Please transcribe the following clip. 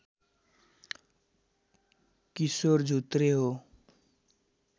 किशोर झुत्रे हो